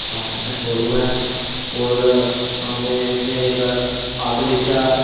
बाटा का शोरूम हैऔर वहां पे इसमें एक ऑटो रिक्षा।